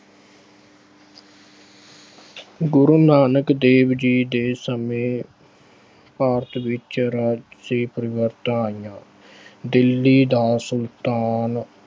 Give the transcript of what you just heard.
ਗੁਰੂ ਨਾਨਕ ਦੇਵ ਜੀ ਦੇ ਸਮੇਂ ਭਾਰਤ ਵਿੱਚ ਰਾਜਸੀ ਪਰਿਵਰਤਨ ਆਏ, ਦਿੱਲੀ ਦਾ ਸੁਲਤਾਨ